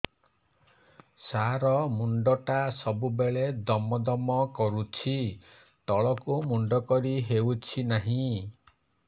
ସାର ମୁଣ୍ଡ ଟା ସବୁ ବେଳେ ଦମ ଦମ କରୁଛି ତଳକୁ ମୁଣ୍ଡ କରି ହେଉଛି ନାହିଁ